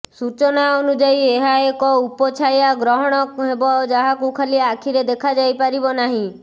ସୂଚନା ଅନୁଯାୟୀ ଏହା ଏକ ଉପଛାୟା ଗ୍ରହଣ ହେବ ଯାହାକୁ ଖାଲି ଆଖିରେ ଦେଖାଯାଇ ପାରିବ ନାହିଁ